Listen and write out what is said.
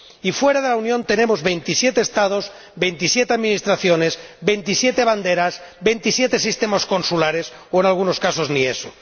Y fuera de la Unión tenemos veintisiete Estados, veintisiete administraciones, veintisiete banderas, veintisiete sistemas consulares o, en algunos casos, ni eso.